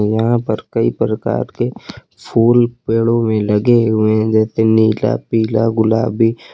यहां पर कई प्रकार के फूल पेड़ों में लगे हुए हैं जैसे नीला पीला गुलाबी।